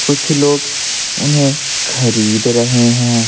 कुछ लोग उन्हें खरीद रहे हैं।